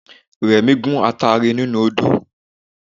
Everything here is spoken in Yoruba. Remi gun atare nínú odó